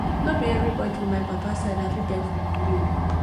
no be every body for my papa side i fit beg for money oo